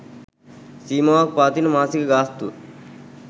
සීමාවක් පවතින මාසික ගාස්තුව